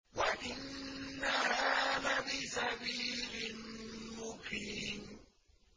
وَإِنَّهَا لَبِسَبِيلٍ مُّقِيمٍ